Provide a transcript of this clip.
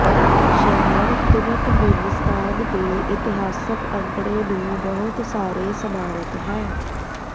ਸ਼ਹਿਰ ਤੁਰਕਮੇਨਿਸਤਾਨ ਦੇ ਇਤਿਹਾਸਕ ਅੰਕੜੇ ਨੂੰ ਬਹੁਤ ਸਾਰੇ ਸਮਾਰਕ ਹੈ